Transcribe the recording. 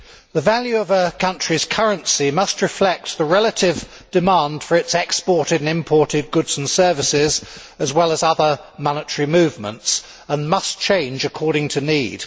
The value of a country's currency must reflect the relative demand for its exported and imported goods and services, as well as other monetary movements, and must change according to need.